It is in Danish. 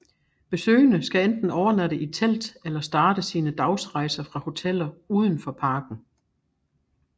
Besøgende skal enten overnatte i telt eller starte sine dagsrejser fra hoteller udenfor parken